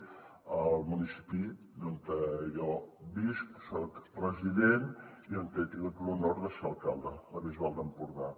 el municipi on jo visc on soc resident i on he tingut l’honor de ser alcalde la bisbal d’empordà